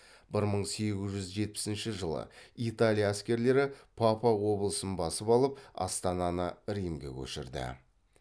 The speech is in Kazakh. бір мың сегіз жүз жетпісінші жылы италия әскерлері папа облысын басып алып астананы римге көшірді